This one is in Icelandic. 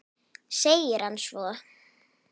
segir hann svo.